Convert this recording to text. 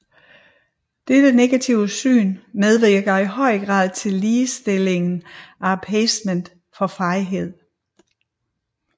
Dette negative syn medvirker i høj grad til sidestillingen af appeasement med fejhed